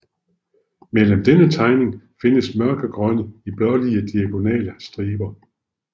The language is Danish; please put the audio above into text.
Mellem denne tegning findes mørkegrønne til blålige diagonale striber